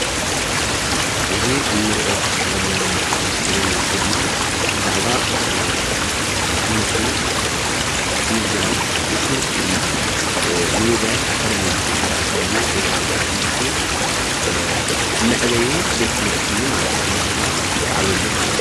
እዚ እንርኦ ዘለና ኣብ እስክሪን ምስሊ ድማ ብዛዕባ ትምህርቲ እዩ ዝገልፅን እዩ ድማ ምህርቲ እዩ ዝገልፅ ኒውላፍ ኣካዳሚክ ይበሃል እዩ ድማ ናይ ትምህርቲ ዘዓብየሉ ማለት እዩ፡፡